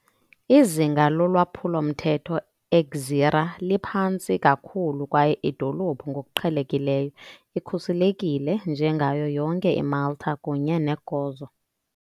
Izinga lolwaphulo-mthetho eGżira liphantsi kakhulu kwaye idolophu ngokuqhelekileyo ikhuselekile njengayo yonke iMalta kunye neGozo.